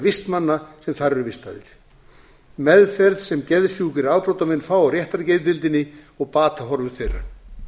vistmanna sem þar eru vistaðir meðferð sem geðsjúkir afbrotamenn fá á réttargeðdeildinni og batahorfur þeirra